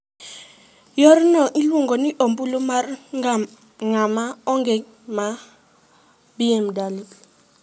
Yorno iluongo ni ombulu mar ng'ama onge, ma Bw.